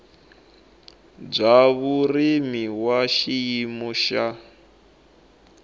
bya vurimi wa xiyimo xa